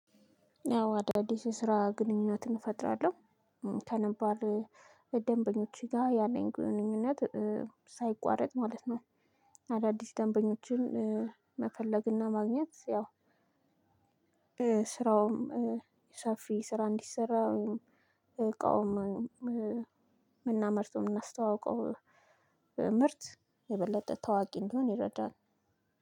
ያው አዳዲስ የስራ ግንኙነትን እፈጥራለሁ ከነባር ደንበኞቼ ጋር ያለኝ ግንኙነት ሳይቋረጥ ማለት ነው። አዳዲስ ደንበኞችን መፈለግና ማግኘት ያው። ስራውም የሰፊ ስራ እንዲሰራ ወይም እቃውም የም የምናመርተው የምናስተዋውቀው ምርት የበለጠ ታዋቂ እንዲሆን ይረዳል።